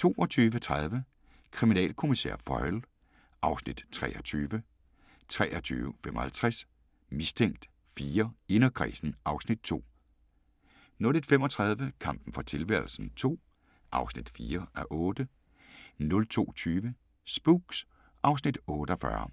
22:30: Kriminalkommissær Foyle (Afs. 23) 23:55: Mistænkt 4: Inderkredsen (Afs. 2) 01:35: Kampen for tilværelsen II (4:8) 02:20: Spooks (Afs. 48)